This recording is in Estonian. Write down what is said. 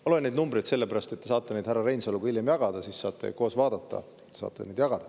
Ma loen neid numbreid sellepärast, et te saate neid härra Reinsaluga hiljem jagada, siis saate koos vaadata.